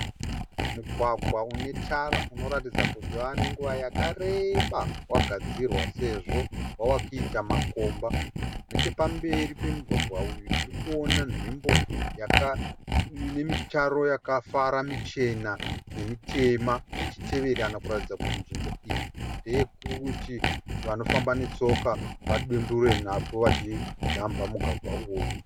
Mugwagwa unetara unoratidza kuti wavanenguva yakareba wagadzirwa sezvo wavakuita makomba. Nechepamberi pemugwagwa uyu tirikuona nzvimbo yaka inemitaro yakafara muchena nemitema ichiteverana kuratidza kuti nzvimbo iyi ndeyekuti vanofamba netsoka vadunduvire napo vachijamba mugwagwa uyu.